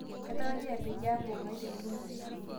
kaitarajia peyie aaku ngae te ntumo